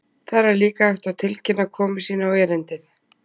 Þar er líka hægt að tilkynna komu sína á erindið.